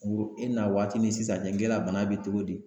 Wo e na waati ni sisan cɛ k'e la bana bɛ togo di.